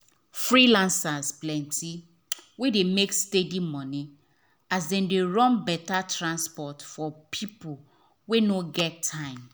freelancers plenty wey dey make steady money as dem dey run better transport for people wey no get time.